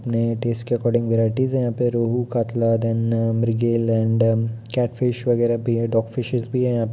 अपने टेस के according varieties है यहाँ पे । Rohu catla then mrigal and catfish वगैरह भी है डॉग फ़िशेस भी है यहाँ --